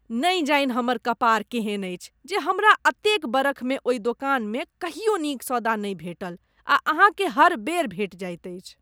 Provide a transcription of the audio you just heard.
नहि जानि हमर कपार केहन अछि जे हमरा एतेक बरखमे ओहि दोकानमे कहियो नीक सौदा नहि भेटल आ अहाँकेँ हर बेर भेटि जाइत अछि।